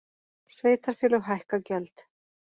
Sveitarfélög hækka gjöld